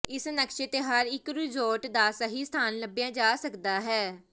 ਇਸ ਨਕਸ਼ੇ ਤੇ ਹਰ ਇਕ ਰਿਜ਼ੋਰਟ ਦਾ ਸਹੀ ਸਥਾਨ ਲੱਭਿਆ ਜਾ ਸਕਦਾ ਹੈ